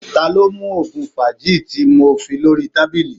ta lo mu oògùn fagly ti mo fi lori tabili?